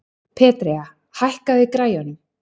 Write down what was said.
Petrea, hækkaðu í græjunum.